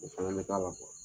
O fana be k'a la